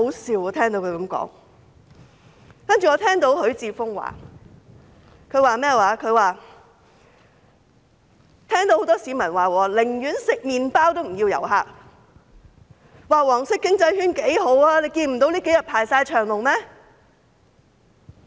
此外，我聽到許智峯議員指出，很多市民說寧願吃麵包也不要旅客，說"黃色經濟圈"的市道很好，這數天大排長龍。